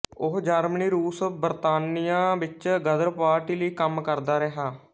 ਉਹ ਜਰਮਨੀ ਰੂਸ ਬਰਤਾਨੀਆ ਵਿੱਚ ਗਦਰ ਪਾਰਟੀ ਲਈ ਕੰਮ ਕਰਦਾ ਰਿਹਾ